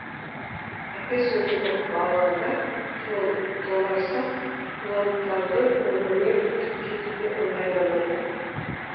әке сөзін ұғып алады да толарсақ құлантаудың үңгіріне кетуге ыңғайланады